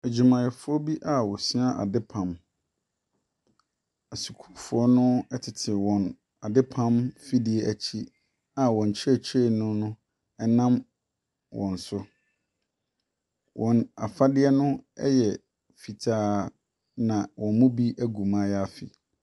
Adwumayɛfoɔ bi a wɔsua adepam. Asukuufoɔ no tete wɔn adepam mfidie akyi a wɔn kyerɛkyerɛni no nam wɔn so. Wɔn afadeɛ no yɛ fitaa, ɛna wɔn mu bi agu mayaafi.